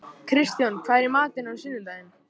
Kristján, hvað er í matinn á sunnudaginn?